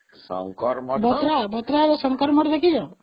ଶଙ୍କର ମଠ ଭତ୍ରାର ଶଙ୍କର ମଠ ଦେଖିଛ ?